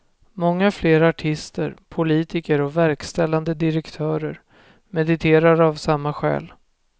Många fler artister, politiker och verkställande direktörer mediterar av samma skäl.